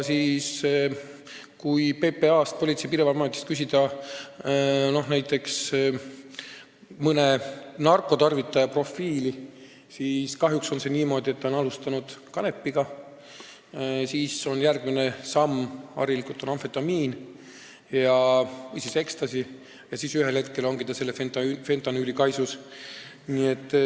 Kui Politsei- ja Piirivalveametist küsida näiteks mõne narkotarvitaja profiili, siis kahjuks selgub, et ta on alustanud kanepiga, järgmine samm on harilikult olnud amfetamiin või ecstasy ja ühel hetkel ongi ta fentanüüli kaisus.